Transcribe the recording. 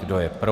Kdo je pro?